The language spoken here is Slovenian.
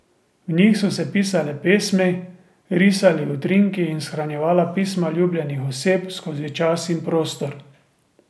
V njih so se pisale pesmi, risali utrinki in shranjevala pisma ljubljenih oseb skozi čas in prostor.